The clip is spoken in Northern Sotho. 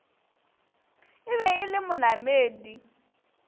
e be e le monamedi